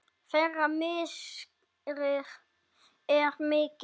Þeirra missir er mikill.